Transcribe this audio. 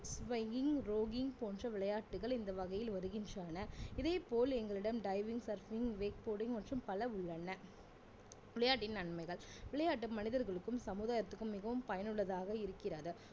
போன்ற விளையாட்டுகள் இந்த வகையில் வருகின்றன இதேப்போல் எங்களிடம் diving surfing wakeboarding மற்றும் பல உள்ளன விளையாட்டின் நன்மைகள் விளையாட்டு மனிதர்களுக்கும் சமுதாயத்துக்கும் மிகவும் பயனுள்ளதாக இருக்கிறது